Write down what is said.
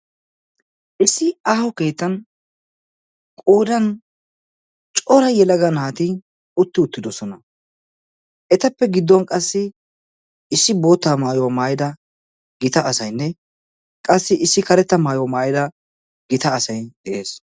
Issi aaho keettan qoodan cora yelaga naati utti uttidosona. etappe gidduwaan qassi issi boottaa maayuwaa maayida gita asaynne qassi karetta maayuwaa maayida gita asay de'ees.